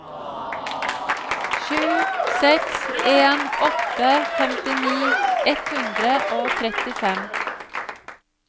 sju seks en åtte femtini ett hundre og trettifem